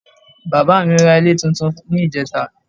Bàbá ra ilé túntún ní ìjẹ́ta